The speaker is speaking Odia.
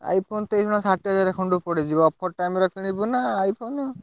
iPhone ତ ଏଇଖିନା ସାଠିଏ ହାଜ଼ାର ଖଣ୍ଡେ ପଡିଯିବ। offer time ରେ କିଣିବୁ ନା iPhone ।